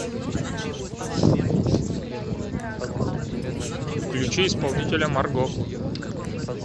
включи исполнителя марго